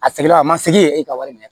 A seginna a ma segin e ka wari minɛ